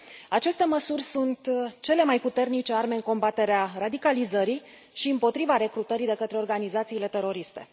Aceste măsuri sunt cele mai puternice arme în combaterea radicalizării și împotriva recrutării de către organizațiile teroriste.